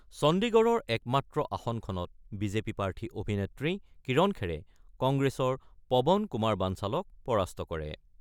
চণ্ডিগড়ৰ একমাত্ৰ আসনখনত বিজেপি প্ৰাৰ্থী অভিনেত্ৰী, কিৰণ খেৰে, কংগ্ৰেছৰ পৱন কুমাৰ বাঞ্চালক পৰাস্ত কৰে।